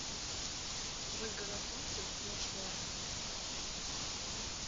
ольга рапунцель прошлое